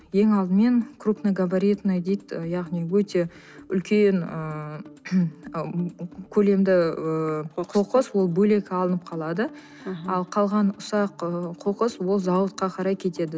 ең алдымен крупногабаритные дейді яғни өте үлкен ыыы көлемді ііі қоқыс ол бөлек алынып қалады аха ал қалған ұсақ ы қоқыс ол зауытқа қарай кетеді